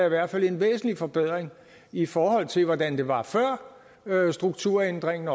i hvert fald en væsentlig forbedring i forhold til hvordan det var før strukturændringen